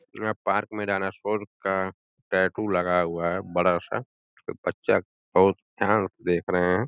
यहाँ पार्क में डायनासोर का टैटू लगा हुआ है बड़ा सा इसको बच्चा बहुत ध्यान से देख रहे हैं।